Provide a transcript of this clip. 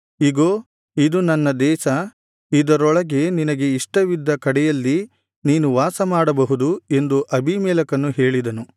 ಇಗೋ ಇದು ನನ್ನ ದೇಶ ಇದರೊಳಗೆ ನಿನಗೆ ಇಷ್ಟವಿದ್ದ ಕಡೆಯಲ್ಲಿ ನೀನು ವಾಸ ಮಾಡಬಹುದು ಎಂದು ಅಬೀಮೆಲೆಕನು ಹೇಳಿದನು